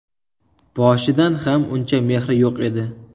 Boshidan ham uncha mehri yo‘q edi.